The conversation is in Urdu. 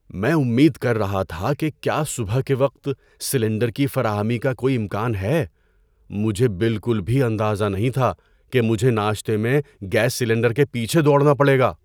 میں امید کر رہا تھا کہ کیا صبح کے وقت سلنڈر کی فراہمی کا کوئی امکان ہے۔ مجھے بالکل بھی اندازہ نہیں تھا کہ مجھے ناشتے میں گیس سلنڈر کے پیچھے دوڑنا پڑے گا!